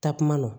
Takuma na